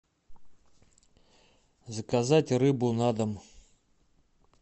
заказать рыбу на дом